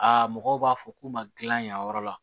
Aa mɔgɔw b'a fɔ k'u ma dilan yen yɔrɔ la